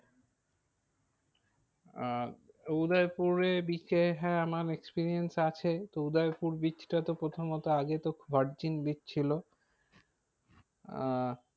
আহ উদয়পুরে bridge এ হ্যাঁ আমার experience আছে তো উদয়পুর bridge টা তো প্রথমত আগে তো virgin bridge ছিল। আহ